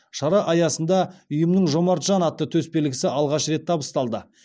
шара аясында ұйымның жомарт жан атты төсбелгісі алғаш рет табысталды